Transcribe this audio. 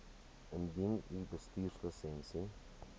indien u bestuurslisensie